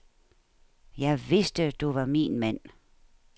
Jeg vidste, du var min mand.